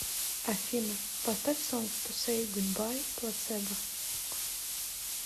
афина поставь сонг ту сэй гудбай плацебо